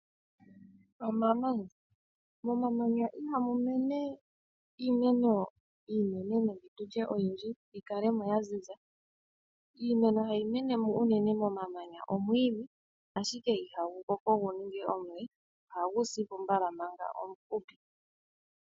Omamanya, momamanya ihamu mene iimeno iinene nenge tutye oyindji yi kale mo ya ziza. Iimeno hayi mene mo unene momamanya omwiidhi ashike ihagu koko gu ninge omule ohagu si po mbala manga omufupi.